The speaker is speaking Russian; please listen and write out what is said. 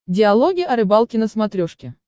диалоги о рыбалке на смотрешке